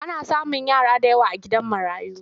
Ana samun yara da yawa a gidan marayu.